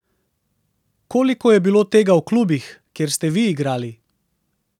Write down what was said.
Koliko je bilo tega v klubih, kjer ste vi igrali?